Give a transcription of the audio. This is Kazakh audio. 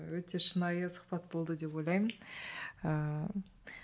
өте шынайы сұхбат болды деп ойлаймын ыыы